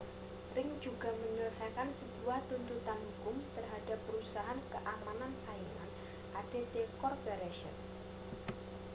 ring juga menyelesaikan sebuah tuntutan hukum terhadap perusahaan keamanan saingan adt corporation